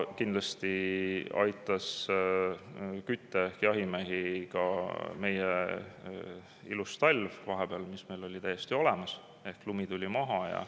Kindlasti aitas kütte ehk jahimehi ka meie ilus talv, mis meil vahepeal oli täiesti olemas – lumi tuli maha.